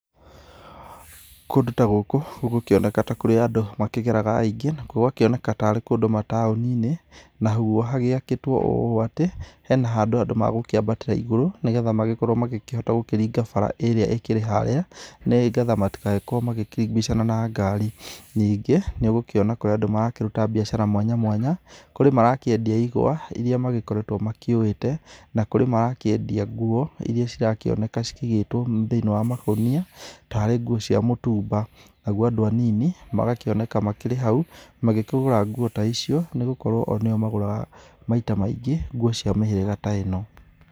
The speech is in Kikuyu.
Kũndũ ta gũkũ gũgũkũoneka ta kũrĩ andũ makĩgeraga aingĩ, gũgakĩoneka tarĩ kũndũ mataũni-inĩ, naguo hagĩakĩtwo ũũ atĩ, hena handũ andũ megũkĩambatĩra igũrũ, nĩgetha magĩkorwo magĩkĩhota gũkĩringa bara ĩrĩa ĩkĩrĩ harĩa, nĩgetha matigagĩkorwo makĩbicana na ngari. Ningĩ nĩũgũkĩona kũrĩ andũ marakĩruta biacara mwanya mwanya, kũrĩ marakĩendia ĩgwa, ĩrĩa magĩkoretwo makĩũwĩte, na kũrĩ marakĩendia nguo ĩrĩa cirakĩoneka cikĩigĩtwo thĩiniĩ wa makũnia tarĩ nguo cia mũtumba. Naguo andũ anini magakĩoneka makĩrĩ hau magĩkĩgũra nguo ta icio nĩ gukorwo o nĩo magũraga maita maingĩ nguo cia mĩhĩrĩga ta ĩno.